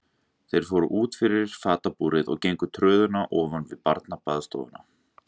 Þeir fóru út og fyrir fatabúrið og gengu tröðina ofan við barnabaðstofuna.